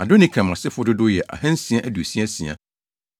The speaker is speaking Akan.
Adonikam asefo dodow yɛ 2 666 1